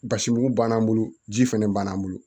Basimugu b'an bolo ji fɛnɛ b'an bolo